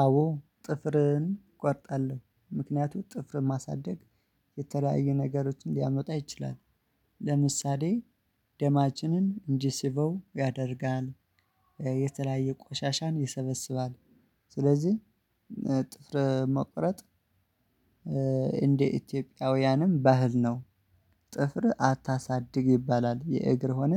አዎ ጥፍርን እቆርጣለሁ ምክንያቱም ጥፍርን ማሳደግ የተለያዩ ነገሮችን ሊያመጣ ይችላል። ለምሳሌ ደማችንን እንጂስበው ያደርጋል። የተለያየ ቆሻሻን ይሰበስባል። ስለዚህ ጥፍር መቁረጥ እንደ ኢትዮጵያውያንም ባህል ነው። ጥፍር አታሳድግ ይባላል የእግር ሆነ